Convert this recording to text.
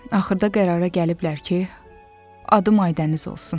Axırda qərara gəliblər ki, adım Aydəniz olsun.